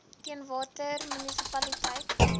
teen watter munisipaliteite